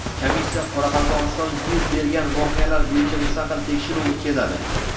Komissiya Qoraqalpog‘istonda yuz bergan voqealar bo‘yicha mustaqil tekshiruv o‘tkazadi.